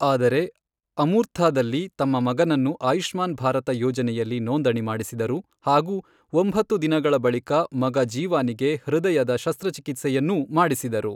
ಆದರೆ, ಅಮೂರ್ಥಾ ದಲ್ಲಿ ತಮ್ಮ ಮಗನನ್ನು ಆಯುಷ್ಮಾನ್ ಭಾರತ ಯೋಜನೆಯಲ್ಲಿ ನೋಂದಣಿ ಮಾಡಿಸಿದರು ಹಾಗೂ ಒಂಭತ್ತು ದಿನಗಳ ಬಳಿಕ ಮಗ ಜೀವಾನಿಗೆ ಹೃದಯದ ಶಸ್ತ್ರಚಿಕಿತ್ಸೆಯನ್ನೂ ಮಾಡಿಸಿದರು.